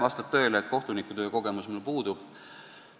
Vastab tõele, et kohtunikutöö kogemus mul puudub.